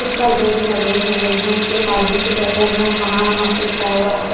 कुछ पर्दे भी लगे हुए हैं एक आदमी स्वेटर पेहने वहां वहां पे रुका हुआ है।